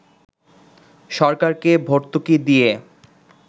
সরকারকে ভর্তুকি দিয়ে